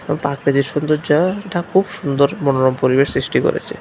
এবং পাক সুন্দর জাগা এটা খুব সুন্দর মনোরম পরিবেশ সৃষ্টি করেছে।